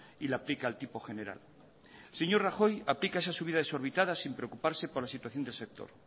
y le aplica el tipo general el señor rajoy aplica esa subida desorbitada sin preocuparse por la situación del sector